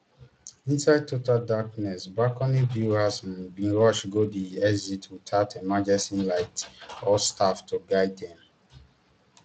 inside total darkness balcony viewers um bin rush go di exits without emergency lights or staff to guide dem